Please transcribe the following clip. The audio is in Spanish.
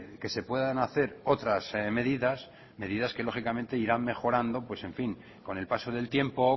que se puedan hacer otras medidas medidas que lógicamente irán mejorando pues en fin con el paso del tiempo